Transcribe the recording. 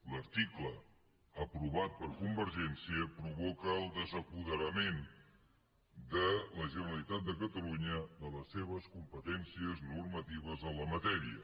l’article aprovat per convergència provoca el desapoderament de la generalitat de catalunya de les seves competències normatives en la matèria